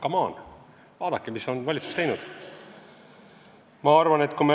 Come on, vaadake, mida on valitsus teinud!